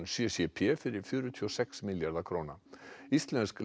c c p fyrir fjörutíu og sex milljarða króna íslensk